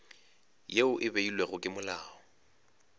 yeo e beilwego ke molao